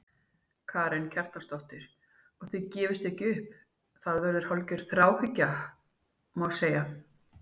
Karen Kjartansdóttir: Og þið gefist ekki upp, þetta verður hálfgerð þráhyggja, má segja?